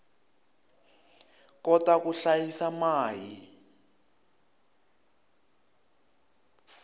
kota ku hlayisa mai